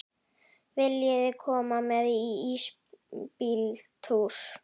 Viljiði koma með í ísbíltúr?